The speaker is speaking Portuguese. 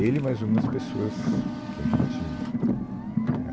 Ele e mais algumas pessoas que a gente, é.